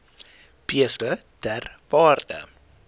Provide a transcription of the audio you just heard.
beeste ter waarde